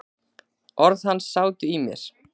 Orð hans sátu í mér.